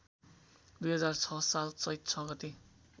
२००६ साल चैत ६ गते